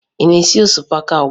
Ị na-esi osikapa ugbua?